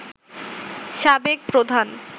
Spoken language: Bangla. সাবেক প্রধান